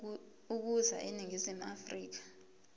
ukuza eningizimu afrika